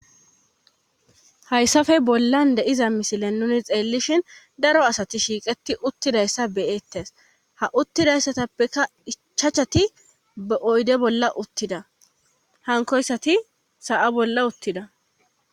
Hayssafe bollan deiza misilen nuni xeellishin daro asati shiiqeti uttidayssa beyeettes ha uttidayssatappeka ichachati ba7oyde bolla uttida hankoyssati sa7a bolla uttida